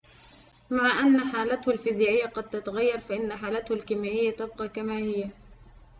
مع أن حالته الفيزيائية قد تتغير فإن حالته الكيميائية تبقي كما هي